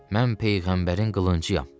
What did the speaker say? Mən peyğəmbərin qılıncıyam.